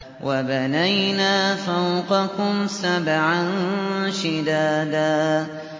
وَبَنَيْنَا فَوْقَكُمْ سَبْعًا شِدَادًا